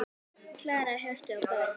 Klara, Hjörtur og börn.